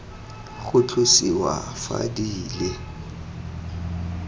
go tlosiwa fa di le